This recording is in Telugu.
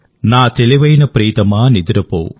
నా తెలివైన ప్రియతమా నిదురపో